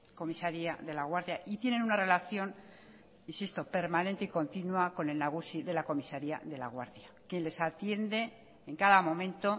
comisaría de laguardia y tienen una relación insisto permanente y continua con el nagusi de la comisaría de laguardia quien les atiende en cada momento